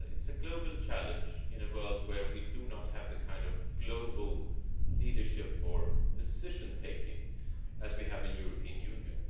this. It is a global challenge in a world where we do not have the kind of global leadership or decision taking that we have in the European Union.